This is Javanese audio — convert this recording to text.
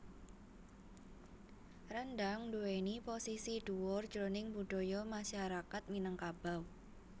Rendhang nduwèni posisi dhuwur jroning budaya masyarakat Minangkabau